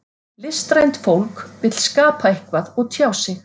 Listrænt fólk vill skapa eitthvað og tjá sig.